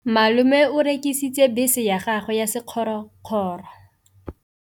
Malome o rekisitse bese ya gagwe ya sekgorokgoro.